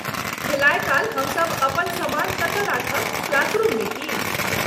खेलाय काल हमसभ अपन सामान कतय राखब ,क्लासरूममे की?